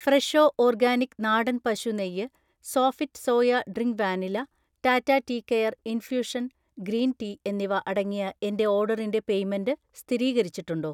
Fresho organic നാടൻ പശു നെയ്യ്, Sofit soya drink vanilla, Tata tea care infusion green tea എന്നിവ അടങ്ങിയ എന്‍റെ ഓർഡറിന്‍റെ പേയ്‌മെന്റ് സ്ഥിരീകരിച്ചിട്ടുണ്ടോ?